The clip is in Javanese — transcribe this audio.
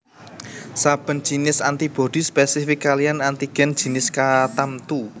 Saben jinis antibodi spesifik kaliyan antigen jinis katamtu